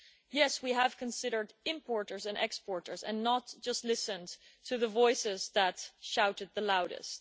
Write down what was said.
Yes, we have considered importers and exporters and not just listened to the voices that shouted the loudest.